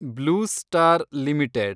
blue Star limited